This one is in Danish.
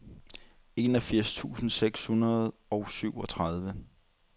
enogfirs tusind seks hundrede og syvogtredive